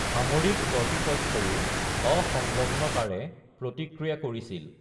সামৰিক কৰ্তৃপক্ষইও অসংলগ্নতাৰে প্ৰতিক্ৰিয়া কৰিছিল।